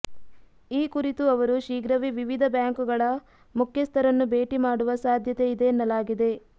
ಈ ಕುರಿತು ಅವರು ಶೀಘ್ರವೇ ವಿವಿಧ ಬ್ಯಾಂಕುಗಳ ಮುಖ್ಯಸ್ಥರನ್ನು ಭೇಟಿ ಮಾಡುವ ಸಾಧ್ಯತೆ ಇದೆ ಎನ್ನಲಾಗಿದೆ